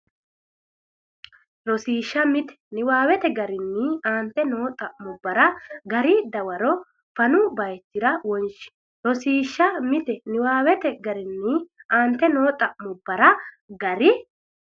Rosiishsha Mite Niwaawete garinni aante noo xa’mubbara gari dawaro fanu bayichira wonshe Rosiishsha Mite Niwaawete garinni aante noo xa’mubbara gari.